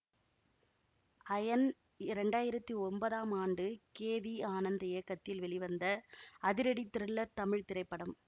iron இரண்டாயிரத்தி ஒன்பதாம் ஆண்டு கே வி ஆனந்த் இயக்கத்தில் வெளிவந்த அதிரடி த்ரில்லர் தமிழ் திரைப்படம்